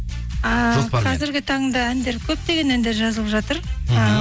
ыыы қазіргі таңда әндер көптеген әндер жазылып жатыр мхм